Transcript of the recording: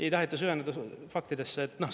Ei taheta süveneda faktidesse.